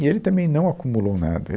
E ele também não acumulou nada.